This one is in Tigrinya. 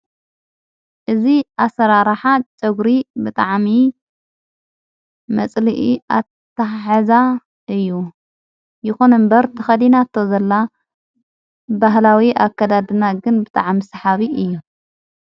እዝ ኣሠራራኃ ጨጕሪ ብጠዓሚ እዪ መጽሊኢ ኣታሕዛ እዩ ይኾነ እምበር ተኸዲናቶ ዘላ ባህላዊ ኣከዳድና ግን ብጥዓሚ ስሓቢ እዩ::